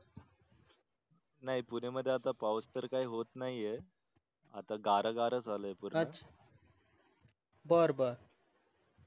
नाही पुणे मध्ये आता पाऊस तर काही होत नाही आहे आता गार गार झाल आहे पूर्ण अच्छा बर बर